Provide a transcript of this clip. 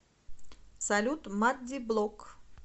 салют маддиблог